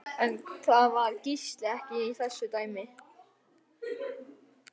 En það var Gísli ekki í þessu dæmi.